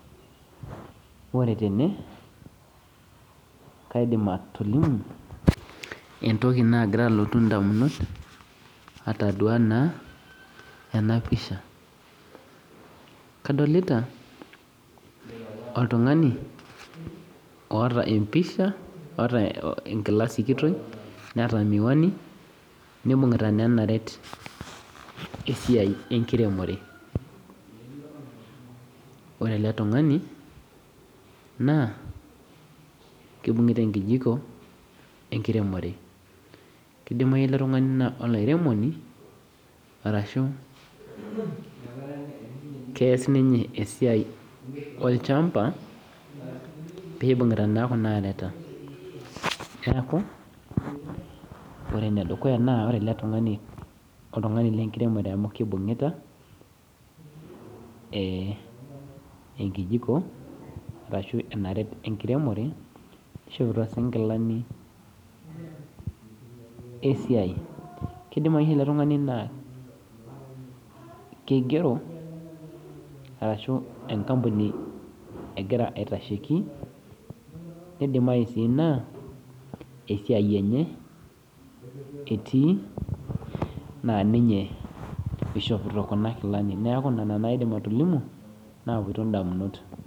Ore tene, kaidim atolimu entoki naagira alotu indamunot atadua naa ena pisha, kadolita oltung'ani oata empisha, oata enkila sikitoi, neata miwani neata naa naret esiai enkiremore. Ore ele tung'ani naa keibungita enkijiko enkiremore, keidimimayu ele tung'ani naa olairemoni ashu keas ninye esiai olchamba peeibungita naa Kuna areta, neaku ore ene dukuya naa ore ele tung'ani naa oltung'ani lenkiremore amu keibungita enkijiko ashu enaret enkiremore neishopito sii inkilani esiai, keidimayu ele tung'ani naa keigero, ashu enkampuni egira aasaki, nebaiki naa esiai enye etii naa ninye neishopito Kuna kilani, naa nena naa aidim atolimu kuti naawuonu indamunot.